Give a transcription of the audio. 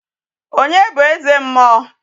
Onye bụ eze mmụọ?